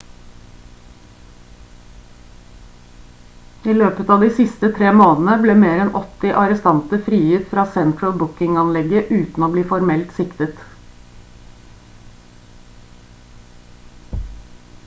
i løpet av de siste tre månedene ble mer enn 80 arrestanter frigitt fra central booking-anlegget uten å bli formelt siktet